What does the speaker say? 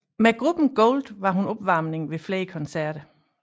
Med gruppen Gold var hun opvarmning ved flere koncerter